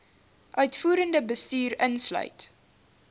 uitvoerende bestuur insluit